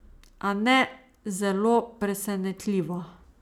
A ne zelo presenetljivo.